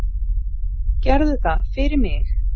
Gerðu það fyrir mig.